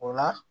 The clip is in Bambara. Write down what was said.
O la